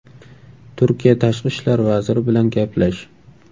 Turkiya tashqi ishlar vaziri bilan gaplash.